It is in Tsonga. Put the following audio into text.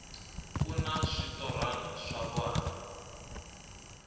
kuna switotrna swa vana